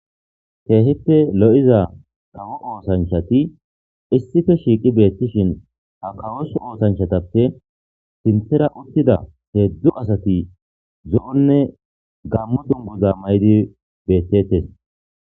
Keehippe lo'iza kawo oosanchati issippe shiiqi beettishin .Ha kawo oosanchatappe sinthara uttida heezzu asati zo'onne gammo dunguza mayidi beettetes.